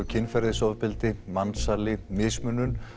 kynferðisofbeldi mansali mismunun